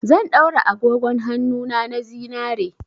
Zan daura agogon hannuna na zinare.